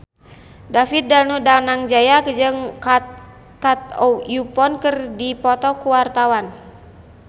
David Danu Danangjaya jeung Kate Upton keur dipoto ku wartawan